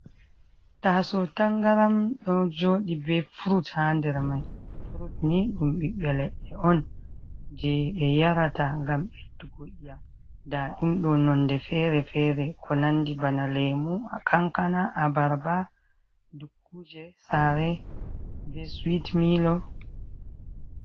Taasaw tanngaram ɗo jooɗi bee furut haa nder may, furut ni ɗum ɓiɓɓe leɗɗe on jey ɓe yarata ngam ɓeddugo i'yam, ndaa ɗum ɗo nonnde feere-feere ko nanndi bana Leemu, Kankana, Abarba, Dukkuje saare bee Suwit-miilo.